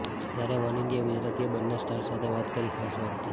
ત્યારે One India ગુજરાતીએ બંને સ્ટાર્સ સાથે વાત કરી ખાસ વાતચીત